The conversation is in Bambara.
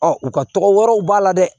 Ɔ u ka tɔgɔ wɛrɛw b'a la dɛ